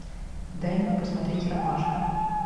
дай мне посмотреть ромашка